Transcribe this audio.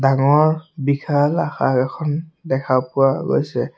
ডাঙৰ বিশাল আসাৰ এখন দেখা পোৱা গৈছে।